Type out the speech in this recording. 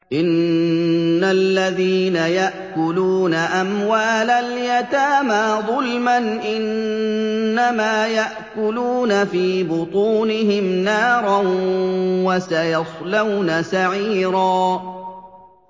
إِنَّ الَّذِينَ يَأْكُلُونَ أَمْوَالَ الْيَتَامَىٰ ظُلْمًا إِنَّمَا يَأْكُلُونَ فِي بُطُونِهِمْ نَارًا ۖ وَسَيَصْلَوْنَ سَعِيرًا